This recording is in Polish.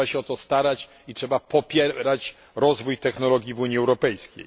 Trzeba się o to starać i trzeba popierać rozwój technologii w Unii Europejskiej.